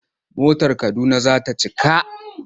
Motar Kaduna za ta cika.